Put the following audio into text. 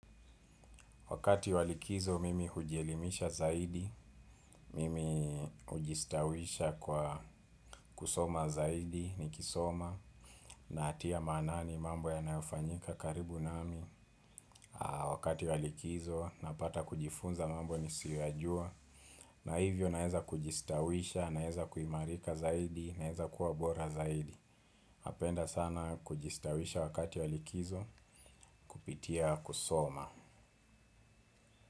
Wakati wa likizo mimi hujielimisha zaidi, mimi hujistawisha kwa kusoma zaidi, nikisoma, natia maanani mambo yanayofanyika karibu nami. Wakati wa likizo, napata kujifunza mambo nisiyoyajua, na hivyo naeza kujistawisha, naeza kuimarika zaidi, naeza kuwa bora zaidi. Napenda sana kujistawisha wakati wa likizo, kupitia kusoma.